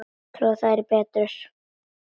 Þær tolla betur.